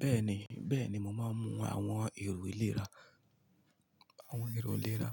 Bẹ́ẹ̀ni, bẹ́ẹ̀ni mo máa ń mu àwọn èrò ìlera, àwọn èrò ìlera